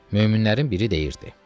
Möminlərin biri deyirdi: